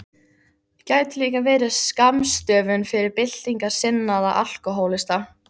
Gæti líka verið skammstöfun fyrir Byltingarsinnaða alkóhólista.